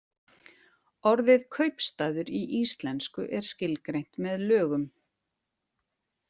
Orðið kaupstaður í íslensku er skilgreint með lögum.